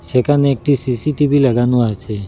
এখানে একটি সি_সি_টি_ভি লাগানো আছে।